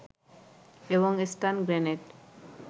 এবং stun grenade